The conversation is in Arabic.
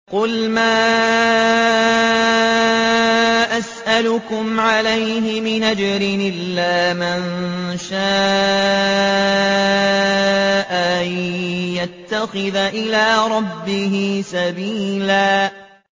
قُلْ مَا أَسْأَلُكُمْ عَلَيْهِ مِنْ أَجْرٍ إِلَّا مَن شَاءَ أَن يَتَّخِذَ إِلَىٰ رَبِّهِ سَبِيلًا